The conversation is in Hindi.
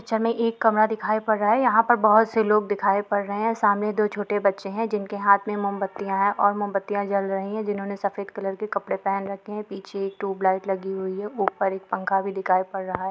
मे एक कमरा दिखाई पड़ रहा है यहाँ पर बहुत से लोग दिखाई पड़ रहे है सामने दो छोटे बच्चे है जिनके हाथ में मोमबत्तियां है और मोमबत्तियां जल रही है जिन्होंने सफ़ेद कलर के कपड़े पहन रखे है पीछे एक ट्यूबलाइट लगी हुई है ऊपर एक पंखा भी दिखाई पड़ रहा है।